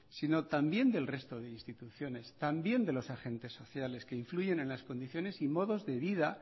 sino también el resto de instituciones también de los agentes sociales que influyen en las condiciones y modos de vida